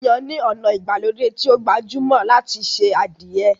Yínyin ni ona ìgbàlódé tí o gbajúmò láti ṣe adìẹ.